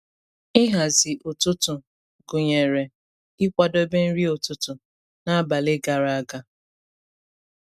Ịhazi ụtụtụ gụnyere ịkwadebe nri ụtụtụ n’abalị gara aga.